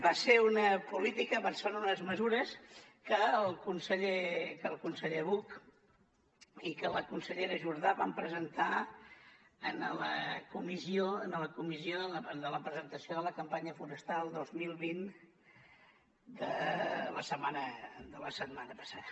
va ser una política van ser unes mesures que el conseller buch i que la consellera jordà van presentar en la comissió de presentació de la campanya forestal dos mil vint de la setmana passada